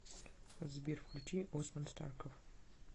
сбер включи османстарков